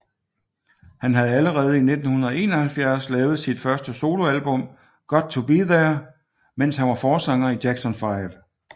Han havde allerede i 1971 lavet sit første soloalbum Got to Be There mens han var forsanger i Jackson Five